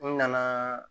N nana